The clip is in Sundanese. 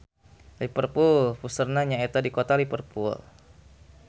Liverpool puseurna nyaeta di Kota Liverpool